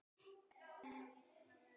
Líðandi stund er þeirra tími.